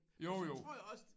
Og så tror jeg også